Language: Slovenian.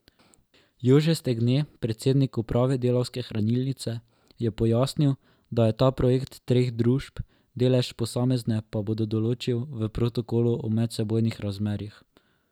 Jože Stegne, predsednik uprave Delavske hranilnice, je pojasnil, da je to projekt treh družb, delež posamezne pa bodo določil v protokolu o medsebojnih razmerjih.